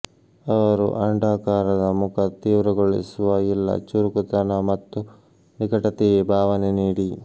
ಅವರು ಅಂಡಾಕಾರದ ಮುಖ ತೀವ್ರಗೊಳಿಸುವ ಇಲ್ಲ ಚುರುಕುತನ ಮತ್ತು ನಿಕಟತೆಯೇ ಭಾವನೆ ನೀಡಿ